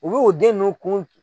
U bɛ o den nun kun